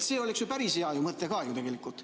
See oleks ju päris hea mõte ka tegelikult.